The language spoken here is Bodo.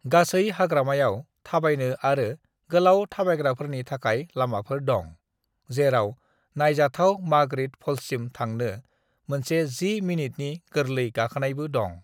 "गासै हाग्रामायाव थाबायनो आरो गोलाव थाबायग्राफोरनि थाखाय लामाफोर दं, जेराव नायजाथाव मार्गारेत फल्ससिम थांनो मोनसे 10 मिनितनि गोरलै गाखोनायबो दं।"